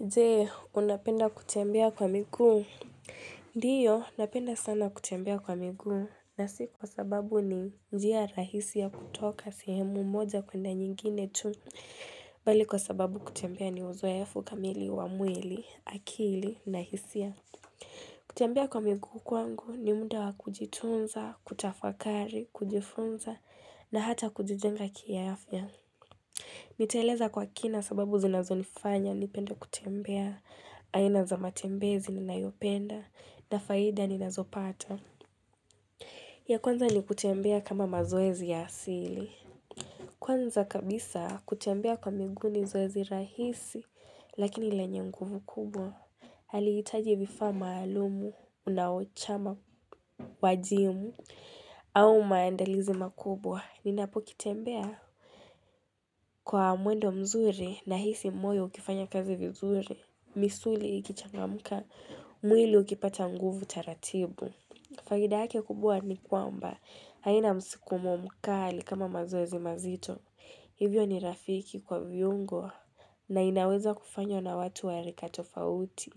Je, unapenda kutembea kwa miguu? Ndiyo, napenda sana kutembea kwa miguu. Na si kwa sababu ni njia rahisi ya kutoka sehemu moja kwenda nyingine tu. Bali kwa sababu kutembea ni uzoefu kamili, wa mwili, akili, na hisia. Kutembea kwa miguu kwangu ni muda wa kujitunza, kutafakari, kujifunza, na hata kujijenga kiafya. Nitaeleza kwa kina sababu zinazo nifanya, nipende kutembea, aina za matembezi ninayopenda, na faida ninazopata. Ya kwanza ni kutembea kama mazoezi ya asili. Kwanza kabisa kutembea kwa miguu ni zoezi rahisi, lakini lenye nguvu kubwa. Halihitaji vifaa maalumu, unaochama, kwa jimu, au maandalizi makubwa, ninapokuwa nikitembea. Kwa mwendo mzuri nahisi moyo ukifanya kazi vizuri, misuli ikichangamka, mwili ukipata nguvu taratibu. Faida yake kubwa ni kwamba, haina msukumo mkali kama mazoezi mazito. Hivyo ni rafiki kwa viungo na inaweza kufanywa na watu wa rika tofauti.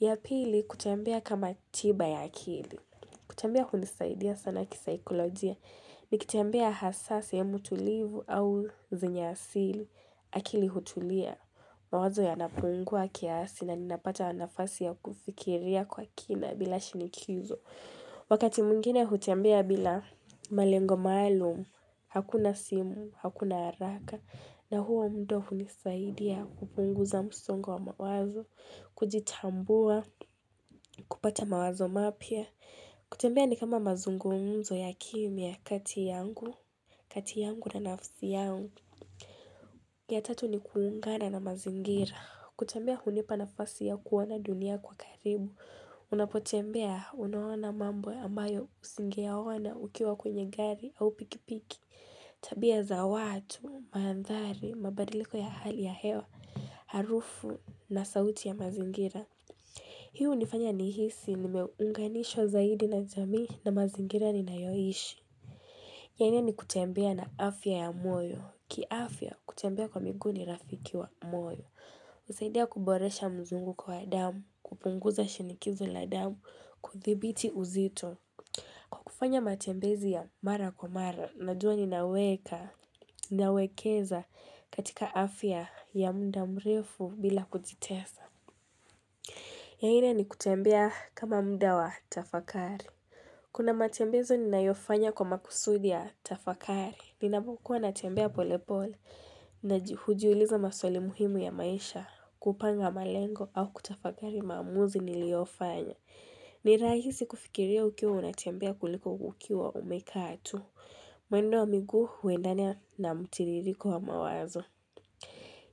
Ya pili kutambea kama tiba ya akili. Kutembea kunasaidia sana kisaikolojia nikitembea hasa sehemu tulivu au zenye asili akili hutulia mawazo yanapungua kiasi na ninapata nafasi ya kufikiria kwa kina bila shinikizo. Wakati mwingine hutembea bila malengo maalumu hakuna simu, hakuna haraka na huo muda hunisaidia kupunguza msongo wa mawazo, kujitambua, kupata mawazo mapya. Kutembea ni kama mazungumzo ya kimya kati yangu na nafsi yangu ya tatu ni kuungana na mazingira kutembea hunipa nafasi ya kuona dunia kwa karibu Unapotembea unaona mambo ambayo usingeyaona ukiwa kwenye gari au pikipiki tabia za watu, mandhari, mabadiliko ya hali ya hewa, harufu na sauti ya mazingira Hii hunifanya nihisi nimeunganishwa zaidi na jamii na mazingira ninayoishi. Yani ni kutembea na afya ya moyo. Kiafya, kutembea kwa miguu ni rafiki wa moyo. Husaidia kuboresha mzunguko wa damu, kupunguza shinikizo la damu, kudhibiti uzito. Kwa kufanya matembezi ya mara kwa mara, ninajua ninaweka, ninawekeza katika afya ya muda mrefu bila kujitesa. Ya nne ni kutembea kama muda wa tafakari. Kuna matembezi ninayofanya kwa makusudi ya tafakari. Ninapokuwa natembea polepole, hujiuliza maswali muhimu ya maisha, kupanga malengo au kutafakari maamuzi niliyoyafanya. Ni rahisi kufikiria ukiwa unatembea kuliko ukiwa umekaa tu. Mwendo wa miguu huendana na mtiririko wa mawazo.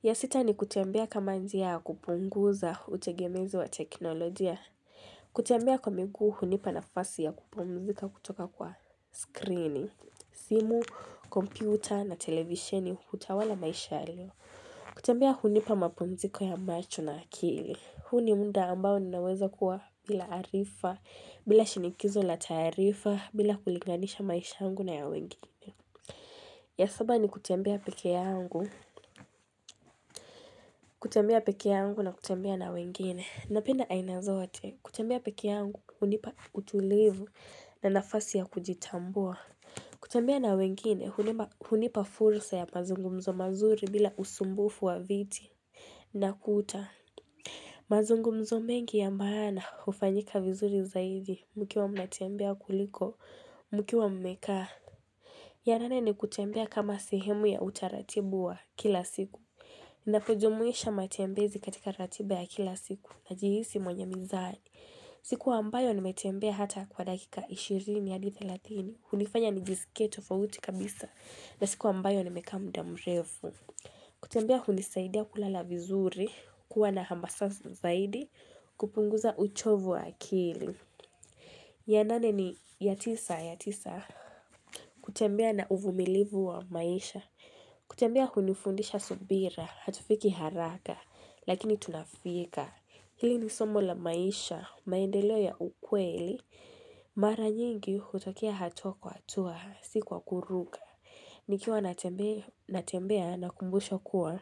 Ya sita ni kutembea kama njia ya kupunguza utegemezi wa teknolojia. Kutembea kwa miguu hunipa nafasi ya kupumzika kutoka kwa skrini, simu, kompyuta na televisheni hutawala maisha ya leo. Kutembea hunipa mapumziko ya macho na akili. Huu ni muda ambao ninaweza kuwa bila arifa, bila shinikizo la taarifa, bila kulinganisha maisha yangu na ya wengine. Ya saba ni kutembea peke yangu. Kutembea peke yangu na kutembea na wengine, napenda aina zote kutembea peke yangu hunipa utulivu na nafasi ya kujitambua kutembea na wengine, hunipa fursa ya mazungumzo mazuri bila usumbufu wa vitu na kuta mazungumzo mengi ya maana hufanyika vizuri zaidi mkiwa mnatembea kuliko, mkiwa mmekaa ya nane ni kutembea kama sehemu ya utaratibu wa kila siku Ninapojumuisha matembezi katika ratiba ya kila siku najihisi mwenye mizani. Siku ambayo nimetembea hata kwa dakika 20-30. Hunifanya nijisikie tofauti kabisa na siku ambayo nimekaa muda mrefu. Kutembea hunisaidia kulala vizuri, kuwa na hamasa zaidi, kupunguza uchovu wa akili. Ya tisa ni kutembea na uvumilivu wa maisha. Kutembea hunifundisha subira, hatufiki haraka, lakini tunafika. Hili ni somo la maisha, maendeleo ya ukweli, mara nyingi hutokea hatua kwa hatua, si kwa kuruka. Nikiwa natembea nakumbushwa kuwa.